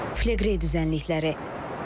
Fleqrey düzənlikləri.